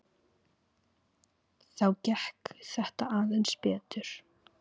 Þá gekk þetta aðeins betur.